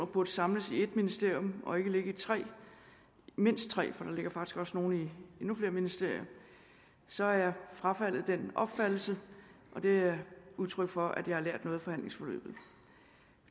burde samles i ét ministerium og ikke ligge i mindst tre for der ligger faktisk også nogle i endnu flere ministerier så har jeg frafaldet den opfattelse og det er udtryk for at jeg har lært noget af forhandlingsforløbet